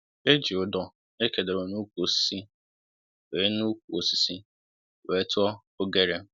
E ji udor é kedoro n'ukwu osisi wē n'ukwu osisi wē tụọ oghere